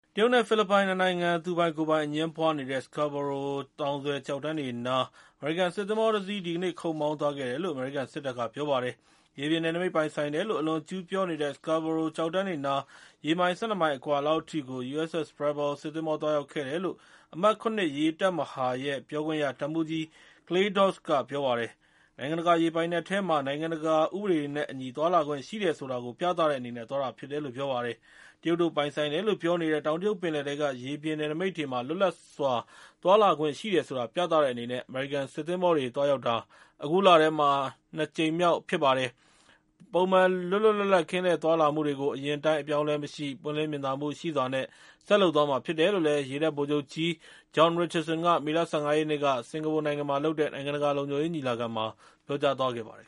တရုတ်နဲ့ဖိလစ်ပိုင် ၂ နိုင်ငံ သူပိုင်ကိုယ်ပိုင် အငြင်းပွားနေတဲ့ Scarborough သောင်စွယ် ကျောက်တန်းတွေနား အမေရိကန်စစ်သင်္ဘောတစီး ဒီကနေ့ ခုတ်မောင်းသွားခဲ့တယ်လို့ အမေရိကန်စစ်တပ်က ပြောပါတယ်။ ရေပြင်နယ်နိမိတ်ပိုင်ဆိုင်တယ်လို့ အလွန်အကျူးပြောနေတဲ့ Scarborough ကျောက်တန်းတွေနား ရေမိုင် ၁၂ မိုင်အကွာလောက်အထိကို USS Preble စစ်သင်္ဘော သွားရောက်ခဲ့တယ်လို့ အမှတ် ၇ ရေတပ်မဟာရဲ့ပြောခွင့်ရ တပ်မှူးကြီး Clay Doss ကပြောပါတယ်။ နိုင်ငံတကာ ရေပိုင်နက်ထဲမှာ နိုင်ငံတကာ ဥပဒေတွေနဲ့ အညီသွားလာခွင့်ရှိတယ်ဆိုတာ ပြသတဲ့အနေနဲ့ သွားတာဖြစ်တယ်လို့ ပြောပါတယ်။ တရုတ်တို့ပိုင်ဆိုင်တယ်လို့ ပြောနေတဲ့ တောင်တရုတ်ပင်လယ်ထဲက ရေပြင်နယ်နိမိတ်တွေမှာ လွတ်လပ်စွာ သွားလာခွင့်ရှိတယ်ဆိုတာ ပြသတဲ့အနေနဲ့ အမေရိကန်စစ်သင်္ဘောတွေ သွားရောက်တာ အခုလထဲမှာ အခု ၂ ကြိမ်မြောက်ဖြစ်ပါတယ်။ ပုံမှန် လွတ်လွတ်လပ်လပ် ကင်းလှည့်သွားလာမှုတွေကို အရင်အတိုင်း အပြောင်းအလဲမရှိ ပွင့်လင်းမြင်သာမှုရှိစွာ ဆက်လုပ်သွားမှာဖြစ်တယ်လို့ ရေတပ်ဗိုလ်ချုပ်ကြီး John Richardson က မေလ ၁၅ ရက်နေ့က စင်္ကာပူမှာလုပ်ခဲ့တဲ့ နိုင်ငံတကာလုံခြုံရေး ညီလာခံမှာ ပြောကြားသွားခဲ့ပါတယ်